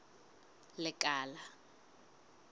lekala